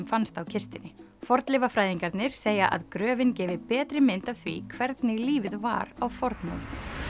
fannst á kistunni fornleifafræðingarnir segja að gröfin gefi betri mynd af því hvernig lífið var á fornöld